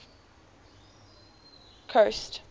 coast